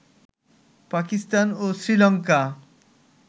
Pakistan ও Sri Lanka